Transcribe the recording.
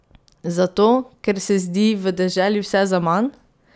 Zato ker se zdi v deželi vse zaman?